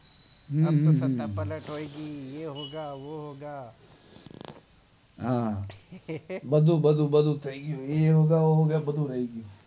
હમ્મ હમ્મ હમ્મ એ હોગા વો હોગા હા બધું બધું બધું થઇ ગયું